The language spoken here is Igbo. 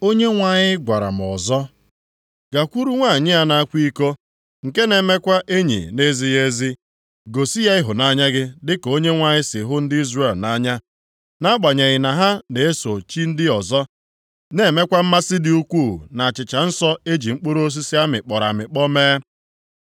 Onyenwe anyị gwara m ọzọ, “Gakwuru nwanyị a na-akwa iko, nke na-emekwa enyi na-ezighị ezi, gosi ya ịhụnanya gị dịka Onyenwe anyị si hụ ndị Izrel nʼanya, nʼagbanyeghị na ha na-eso chi ndị ọzọ na-enwekwa mmasị dị ukwuu nʼachịcha nsọ e ji mkpụrụ osisi a mịkpọrọ amịkpọ mee.”